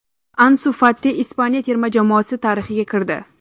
Ansu Fati Ispaniya terma jamoasi tarixiga kirdi.